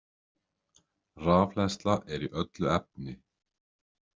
Rafhleðsla er í öllu efni.